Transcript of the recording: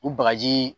U bagaji